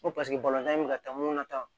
Ko paseke bɛ ka taa ŋunu na